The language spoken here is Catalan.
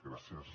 gràcies